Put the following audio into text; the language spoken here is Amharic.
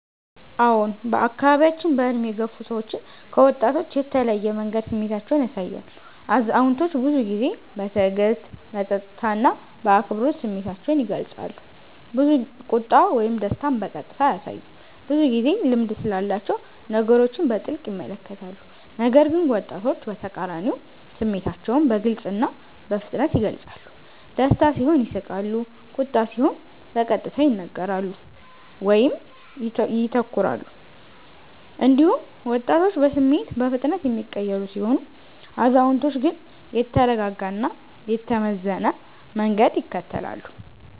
አዎን፣ በአካባቢያችን በዕድሜ የገፉ ሰዎች ከወጣቶች በተለየ መንገድ ስሜታቸውን ያሳያሉ። አዛውንቶች ብዙ ጊዜ በትዕግስት፣ በጸጥታ እና በአክብሮት ስሜታቸውን ይገልጻሉ፤ ቁጣ ወይም ደስታን በቀጥታ አያሳዩም፣ ብዙ ጊዜ ልምድ ስላላቸው ነገሮችን በጥልቅ ይመለከታሉ። ነገር ግን ወጣቶች በተቃራኒው ስሜታቸውን በግልጽ እና በፍጥነት ይገልጻሉ፤ ደስታ ሲሆን ይስቃሉ፣ ቁጣ ሲሆን በቀጥታ ይናገራሉ ወይም ይተኩራሉ። እንዲሁም ወጣቶች በስሜት በፍጥነት የሚቀየሩ ሲሆኑ፣ አዛውንቶች ግን የተረጋጋ እና የተመዘነ መንገድ ይከተላሉ።